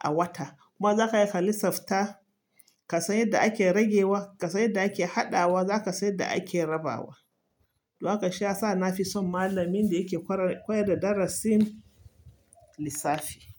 a wata. Kuma za ka iya ka lissafta kasan yanda ake ragewa, kasan yanda ake haɗawa, za ka san da ake rabawa. Don haka shi ya sa na fi son malamin da yake kwarar-koyar da darasin lissafi.